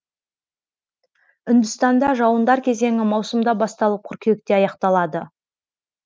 үндістанда жауындар кезеңі маусымда басталып қыркүйекте аяқталады